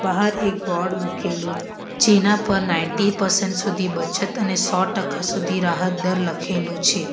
બહાર એક બોર્ડ મૂકેલું જેના પર નાઇન્ટી પર્સન્ટ સુધી બચત અને સો ટકા સુધી રાહત દર લખેલું છે.